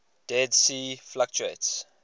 dead sea fluctuates